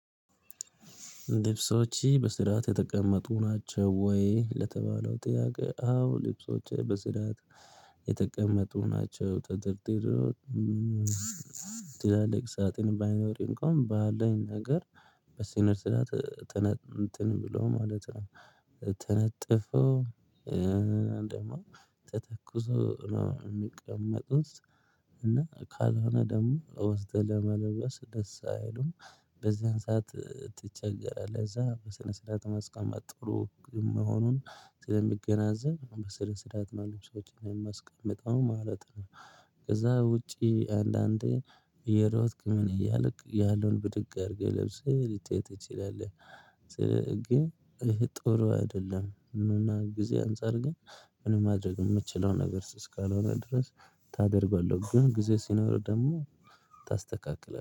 ልብሶች በስርዓት የተቀመጡ ናቸው ወይ? ለተባለው ጥያቄ አዎ ልብሶቼ በስርዓት የተቀመጡ ናቸው። ተደርድረው ትላልቅ ሳጥን ባይኖር እንኳን ባለኝ ነገር በስነ ስርዓት ትነ እንትን ብሎ ማለት ነው። ተነጥፎ ደግሞ ተተኩሶ ነው የሚቀመጡት። እና ካልሆነ ደግሞ ወስድህ ለመልበስ ደስ አይሉም በዚያን ሰዓት ትቸገራለህ። እዛ በስነ ስርዓት ማስቀመጥ ጥሩ መሆኑን ስለምገነዘብ በስነ ስርዓት ነው ልብ ሶችን ማስቀመጠው ማለት ነው። ከዛ ውጪ አንዳንዴ እየሮጥክ ምን እያልክ ያለውን ብድግ አድርገህ ለብሰህ ልትሄድ ትችላለህ። ይህ ጥሩ አይደለም። እና ጊዜ አንፃር ግን ምን ማድረግ የምችለው ነገር እስካልሆነ ድረስ ታደርገዋለህ ግን ጊዜ ሲኖር ደግሞ ታስተካክላለህ